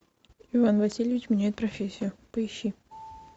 иван васильевич меняет профессию поищи